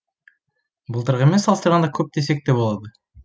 былтырғымен салыстырғанда көп десек те болады